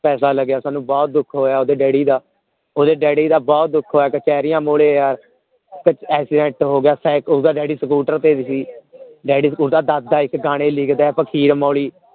ਪੈਸੇ ਲਗਿਆ ਤੁਹਾਨੂੰ ਬਹੁਤ ਦੁੱਖ ਹੋਇਆ ਓਹਦੇ ਡੈਡੀ ਦਾ ਓਹਦੇ ਡੈਡੀ ਦਾ ਬਹੁਤ ਦੁੱਖ ਹੋਇਆ ਮੂਹਰੇ ਯਾਰ ਤੇ ਹੋ ਗਿਆ ਓਹਦਾ ਡੈਡੀ scooter ਤੇ ਸੀ ਡੈਡੀ scooter ਦਾਦਾ ਇੱਕ ਗਾਣੇ ਲਿਖਦਾ ਹੈ ਫ਼ਕੀਰ ਮੌਲੀ